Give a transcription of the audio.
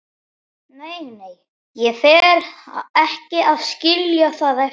Nei, nei, ég fer ekki að skilja það eftir.